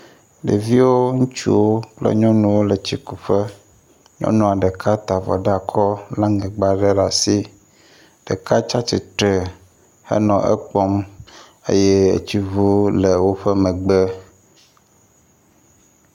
Ɖeviwo ŋutsuwo kple nyɔnuwo le tsikuƒe. Nyɔnu aɖeka ta avɔ ɖe akɔ le aŋegba aɖe ɖe asi. Ɖeka tsi atsitre henɔ ekpɔm eye etsiŋuwo le woƒe megbe.